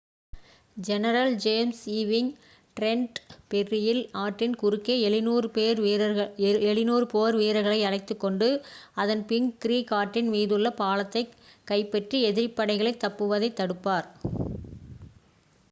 general James Ewing Trenton ஃபெர்ரியில் ஆற்றின் குறுக்கே 700 போர் வீரர்களை அழைத்துக் கொண்டு அசன்பிங்க் க்ரீக் ஆற்றின் மீது உள்ள பாலத்தைக் கைப்பற்றி எதிரிப் படைகள் தப்புவதைத் தடுப்பார்